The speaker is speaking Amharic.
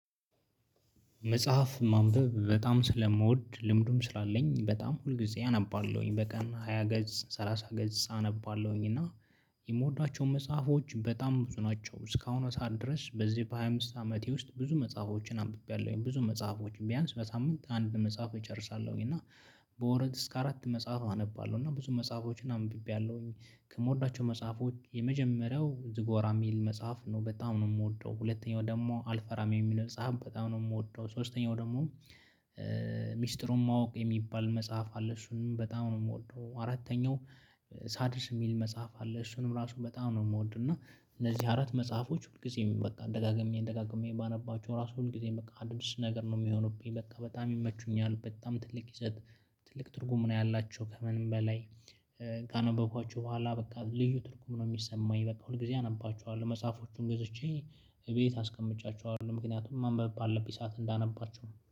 መጽሐፍ ማንበብ በጣም ስለምወድ ልምዱም ስላለኝ በጣም ሁልጊዜ አነባለሁኝ በቀን ሃያ ገጽ ሰላሳ ገጽ አነባለሁኝ እና የምወዳቸው መጽሐፎች በጣም ብዙ ናቸው እስካሁኗ ሰዓት ድረስ በዚህ በሃያ አምስት አመቴ ውስጥ ብዙ መጽሐፎችን አንብቤያለሁኝ ብዙ መጽሐፎችን ቢያንስ በሳምንት አንድ መጽሐፍ እጨርሳለሁኝ። እና በወረት እስከ አራት መጽሐፍ አነባለሁ እና ብዙ መጽሐፎችን አንብቤያለሁኝ። ከምወዳቸው መጽሐፎች የመጀመሪያው ዝጎራ የሚል መጽሐፍ ነው በጣም ነው የምወደው። ሁለተኛው ደግሞ አልፈራም የሚለው መጽሐፍ በጣም ነው የምወደው። ሶስተኛው ደግሞ ሚስጥሩን ማወቅ የሚባል መጽሐፍ አለ እሱንም በጣም ነው የምወደው። አራተኛው ሳድስ የሚል መጽሐፍ አለ እሱንም ራሱ በጣም ነው የምወደው። እና እነዚህ አራት መጽሐፎች ሁልጊዜም በቃ ደጋግሜ ደጋግሜ ባነባቸው ራሱ ሁልጊዜም በቃ ድምጽ ነገር ነው የሚሆኑብኝ በቃ በጣም ይመቹኛል። በጣም ትልቅ ይዘት ትልቅ ትርጉም ነው ያላቸው። ከምንም በላይ ካነበብኳችሁ በኋላ በቃ ልዩ ትርጉም ነው የሚሰማኝ። በቃ ሁልጊዜ አነባችኋለሁ መጽሐፎቹን ገዝቼ እቤት አስቀምጫቸዋለሁ ምክንያቱም ማንበብ ባለብኝ ሰዓት እንዳነባቸው